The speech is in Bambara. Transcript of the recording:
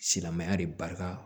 Silamɛya de barika